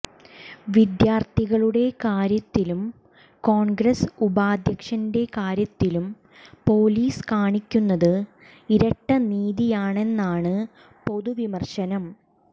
വിദ്യാർത്ഥികളുടെ കാര്യത്തിലും കോൺഗ്രസ് ഉപാധ്യക്ഷന്റെ കാര്യത്തിലും പൊലീസ് കാണിക്കുന്നത് ഇരട്ട നീതിയാണെന്നാണ് പൊതുവിമർശനം